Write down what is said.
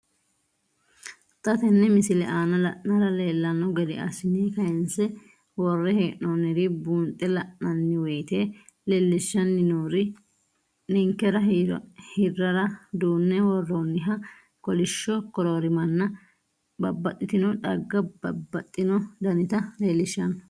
Xa tenne missile aana la'nara leellanno gede assine kayiinse worre hee'noonniri buunxe la'nanni woyiite leellishshanni noori ninkera hirrara duunne worroonniha kolishsho koroorimanna babbaxxitino xagga babbaxxino danita leellishshanno.